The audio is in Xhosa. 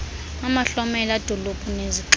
amahlomela dolophu nezixeko